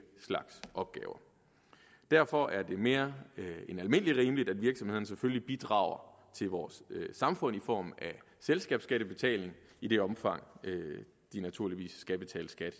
slags opgaver derfor er det mere end almindelig rimeligt at virksomhederne selvfølgelig bidrager til vores samfund i form af selskabsskattebetaling i det omfang de naturligvis skal betale skat